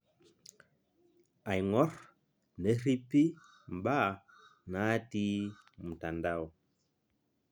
Aing'orr, nerripi mbaa naati mtandao